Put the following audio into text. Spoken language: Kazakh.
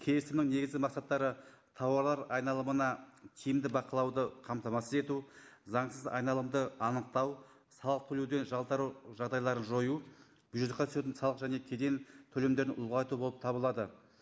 келісімнің негізгі мақсаттары тауарлар айналымына тиімді бақылауды қамтамасыз ету заңсыз айналымды анықтау салық төлеуден жалтару жағдайларын жою бюджетке түсетін салық және кеден төлемдерін ұлғайту болып табылады